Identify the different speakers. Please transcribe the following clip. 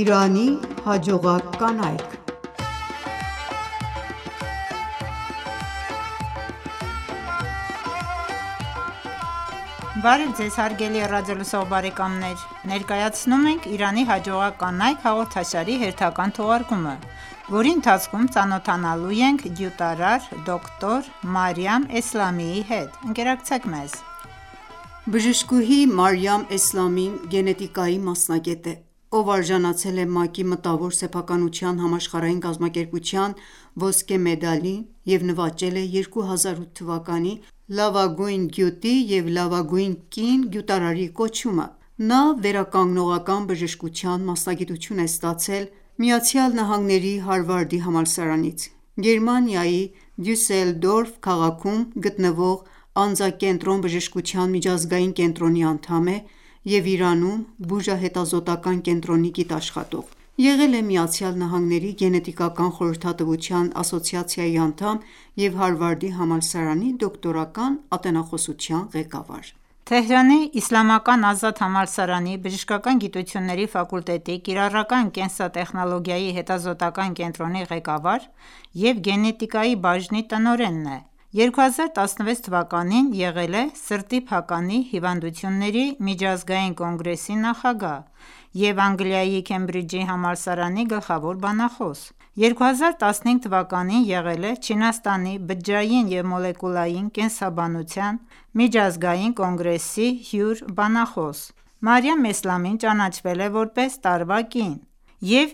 Speaker 1: Իրանի
Speaker 2: հաջողակ կանայք (20) Բարև Ձեզ հարգելի ռադիոլսող բարեկամներ։ Ներկայացնում ենք «Իրանի հաջողակ կանայք» հաղորդաշարի հերթական թողարկումը, որի ընթացքում ծանոթանալու ենք գյուտարար՝ դոկտոր Մարիամ Էսլամիի հետ։ Ընկերակցեք մեզ։ Բժշկուհի
Speaker 1: Մարիամ Էսլամին գենետիկայի մասնագետ է, ով արժանացել է ՄԱԿ-ի Մտավոր սեփականության համաշխարհային կազմակերպության(ՄՍՀԿ/WIPO) 6 ոսկե մեդալի և նվաճել է 2008 թվականի լավագույն գյուտի և լավագույն կին գյուտարարի կոչումը: Նա վերականգնողական բժշկության մասնագիտություն է ստացել ԱՄՆ-ի Հարվարդի համալսարանից։ Գերմանիայի Դյուսելդորֆ քաղաքում գտնվող անձակենտրոն բժշկության միջազգային կենտրոնի անդամ է, և Իրանում բուժահետազոտական կենտրոնի գիտաշխատող։ Եղել է ԱՄՆ-ի Գենետիկական խորհրդատվության ասոցիացիայի անդամ և Հարվարդի համալսարանի դոկտորական ատենախոսության ղեկավար։
Speaker 2: Թեհրանի Իսլամական Ազատ համալսարանի բժշկական գիտությունների ֆակուլտետի կիրառական կենսատեխնոլոգիայի հետազոտական կենտրոնի ղեկավար և գենետիկայի բաժնի տնօրենն է։ 2016 թվականին եղել է Սրտի փականի հիվանդությունների միջազգային կոնգրեսի նախագահ և Անգլիայի Քեմբրիջի համալսարանի գլխավոր բանախոս։2015 թվականին եղել է Չինաստանի բջջային և մոլեկուլային կենսաբանության միջազգային կոնգրեսի հյուր-բանախոս։ Մարիամ Էսլամին ճանաչվել է որպես տարվա կին և